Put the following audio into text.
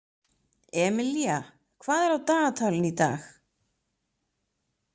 Emilía, hvað er á dagatalinu í dag?